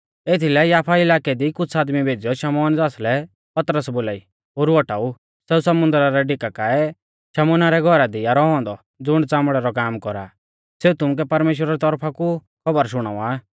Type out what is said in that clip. एथीलै याफा इलाकै दी कुछ़ आदमी भेज़ीयौ शमौन ज़ासलै पतरस बोलाई ओरु औटाऊ सेऊ समुन्दरा रै डिका काऐ शमौना रै घौरा दी आ रौऔ औन्दौ ज़ुण च़ामड़ै रौ काम कौरा आ सेऊ तुमुकै परमेश्‍वरा री तौरफा कु खौबर शुणावा आ